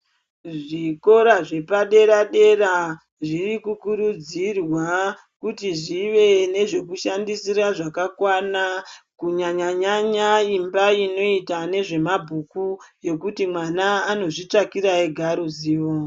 Zvikora zvepadera-dera zvirikukurudzirwa kuti zvive nezvekushandisa zvakakwana kunyanya-nyanya imba inoita nezvemabhuku yekuti mwana anozvitsvakira ega ruzivo.